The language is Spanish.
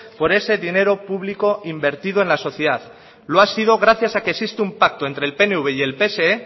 por ese dinero público invertido en la sociedad lo ha sido gracias a que existe un pacto entre el pnv y el pse